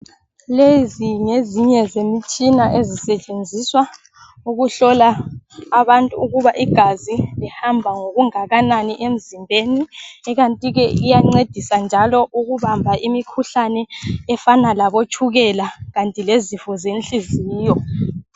Lezi ngezinye zemtshina ezisetshenziswa ukuhlola abantu ukuba igazi lihamba ngokungakanani emzimbeni, ikantike iyancedisa njalo ukubamba imikhuhlane efana labotshukela kanti lezifo zenhliziyo.